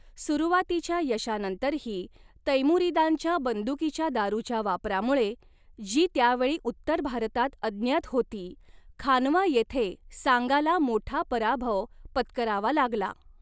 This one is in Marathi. सुरुवातीच्या यशानंतरही, तैमुरीदांच्या बंदुकीच्या दारूच्या वापरामुळे, जी त्यावेळी उत्तर भारतात अज्ञात होती, खानवा येथे सांगाला मोठा पराभव पत्करावा लागला.